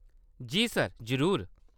जी, sir, जरूर।